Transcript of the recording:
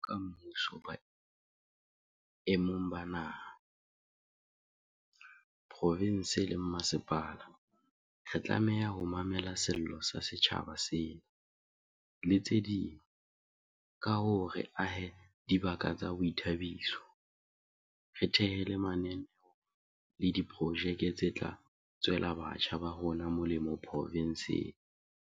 Jwalo ka mmuso boemong ba naha, profinse le ba mmasepala, re tlameha ho mamela sello sa setjhaba sena, le tse ding, ka hore re ahe dibaka tsa boithabiso, re thehe le mananeo le diprojeke tse tla tswela batjha ba rona molemo profinseng.